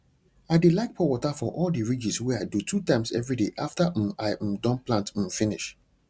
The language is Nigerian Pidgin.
i dey like pour water for all the ridges wey i do two times everyday after um i um don plant um finish